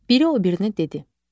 Biri o birinə dedi: